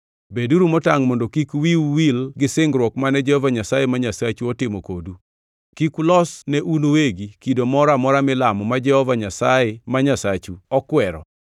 Beduru motangʼ mondo kik wiu wil gi singruok mane Jehova Nyasaye ma Nyasachu otimo kodu, kik ulos ne un uwegi kido moro amora milamo ma Jehova Nyasaye ma Nyasachu okwero.